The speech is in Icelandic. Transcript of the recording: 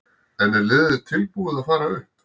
En er liðið tilbúið til að fara upp?